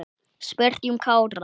Spyrjum Kára.